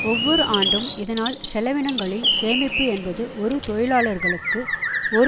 ஒவ்வொரு ஆண்டும் இதனால் செலவினங்களில் சேமிப்பு என்பது ஒரு தொழிலாளர்களுக்கு ஒரு